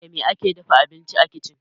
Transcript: Da me ake dafa abinci a kicin?